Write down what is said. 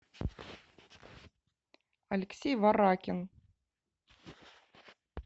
алексей варакин